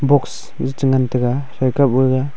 box e cha ngan taga hai kap gaga.